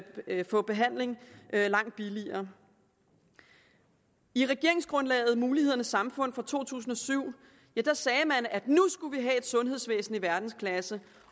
få behandling langt billigere i regeringsgrundlaget mulighedernes samfund fra to tusind og syv sagde man at nu skulle vi have et sundhedsvæsen i verdensklasse